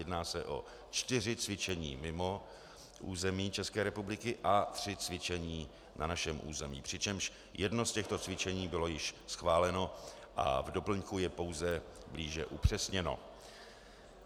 Jedná se o čtyři cvičení mimo území České republiky a tři cvičení na našem území, přičemž jedno z těchto cvičení bylo již schváleno a v doplňku je pouze blíže upřesněno.